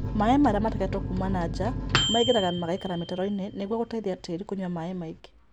Maĩ marĩ mategetwo kuma na nja maingĩraga magaikara mĩtaroinĩ nĩguo gũteithia tĩĩri kũnyua maĩĩ maingĩ